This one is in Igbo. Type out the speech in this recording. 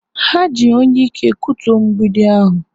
Ha ji onyeike kutuo mgbidi ahụ.